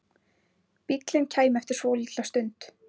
Bíllinn kæmi eftir svolitla stund.